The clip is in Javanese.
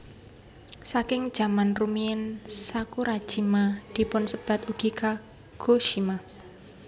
Saking zaman rumiyin Sakurajima dipunsebat ugi Kagoshima